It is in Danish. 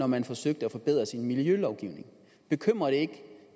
man forsøgte at forbedre sin miljølovgivning bekymrer det ikke